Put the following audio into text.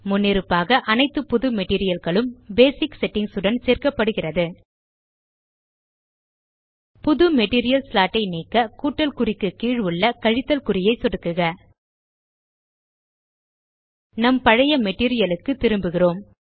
முன்னிருப்பாக அனைத்து புது மெட்டீரியல் களும் பேசிக் செட்டிங்ஸ் உடன் சேர்க்கப்படுகிறது புது மெட்டீரியல் ஸ்லாட் ஐ நீக்க கூட்டல் குறிக்கு கீழ் உள்ள கழித்தல் குறியை சொடுக்குக நம் பழைய மெட்டீரியல் க்கு திரும்புகிறோம்